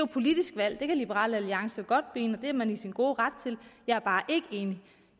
politisk valg det kan liberal alliance godt mene det er man i sin gode ret til jeg er bare ikke enig